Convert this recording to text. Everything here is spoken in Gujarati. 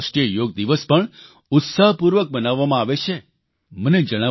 ચીલીમાં આંતરરાષ્ટ્રીય યોગ દિવસ પણ ઉત્સાહપૂર્વક મનાવવામાં આવે છે